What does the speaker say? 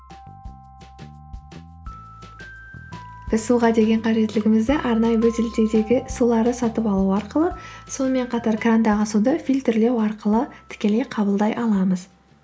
біз суға деген қажеттілігімізді арнайы бөтелдегі суларды сатып алу арқылы сонымен қатар крандағы суды фильтрлеу арқылы тікелей қабылдай аламыз